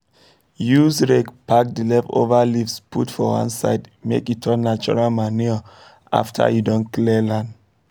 use rake pack the leftover leaves put for one side make e turn natural manure after you don clear land